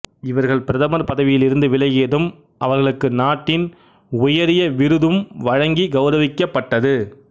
இவர்கள் பிரதமர் பதவியில் இருந்து விலகியதும் அவர்களுக்கு நாட்டின் ஆக உயரிய துன் விருது வழங்கிக் கௌரவிக்கப்பட்டது